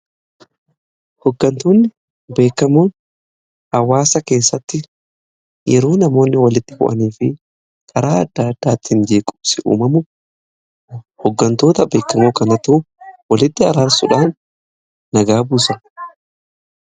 hoggantoonni beekamoon hawaasa keessatti yeroo namoonni walitti bu'anii fi karaa adda addaattiin jeequmsi uumamu hoggantoota beekamoo kanatu walitti araarsuudhaan nagaa buusa